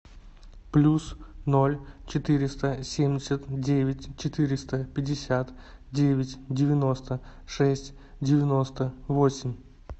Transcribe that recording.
плюс ноль четыреста семьдесят девять четыреста пятьдесят девять девяносто шесть девяносто восемь